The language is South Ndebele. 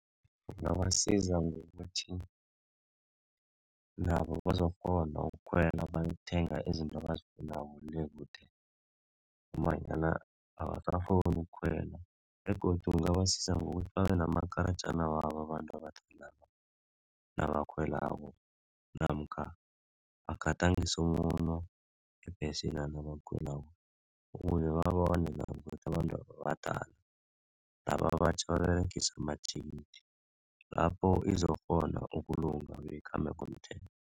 Kungabasiza ngokuthi nabo bazokghona ukukhwela bayokuthenga izinto abazifunako le kude ngombanyana abasakghoni ukukhwela begodu kungabasiza ngokuthi babe namakarajana wabo abantu abadalaba nabakhwelako namkha bagadangise umuno ngebhesina nabakhwelako ukuze babone nabo ukuthi abantwaba badala laba abatjha baberegise amathikithi lapho izokghona ukulunga beyikhambe ngomthetho.